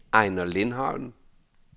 Ejner Lindholm